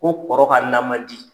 Ko kɔrɔ ka na ma di.